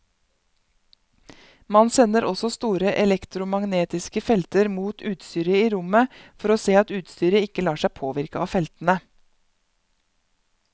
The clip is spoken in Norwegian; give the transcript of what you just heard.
Man sender også store elektromagnetiske felter mot utstyret i rommet for å se at utstyret ikke lar seg påvirke av feltene.